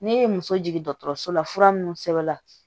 Ne ye muso jigin dɔgɔtɔrɔso la fura minnu sɛbɛnna